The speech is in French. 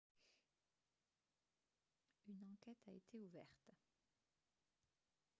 une enquête a été ouverte